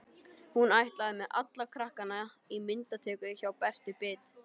Hún ætlaði með alla krakkana í myndatöku hjá Bertu bit.